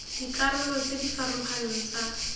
dikarolo tse di farologaneng tsa